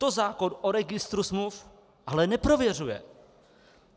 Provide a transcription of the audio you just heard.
To zákon o registru smluv ale neprověřuje.